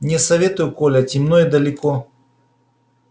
не советую коля темно и далеко